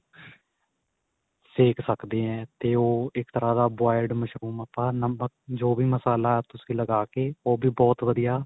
ਸੇਕ ਸਕਦੇ ਏ ਤੇ ਉਹ ਤੇ ਇੱਕ ਤਰ੍ਹਾਂ ਦਾ boiled ਮਸ਼ਰੂਮ ਆਪਾਂ ਨਮਕ ਜੋ ਵੀ ਮਸਾਲਾ ਤੁਸੀਂ ਲਗਾ ਕੇ ਉਹ ਵੀ ਬਹੁਤ ਵਧੀਆ